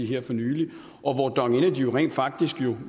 her for nylig og dong energy er rent faktisk